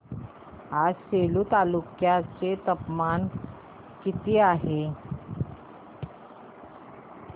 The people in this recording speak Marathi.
आज सेलू तालुक्या चे तापमान किती आहे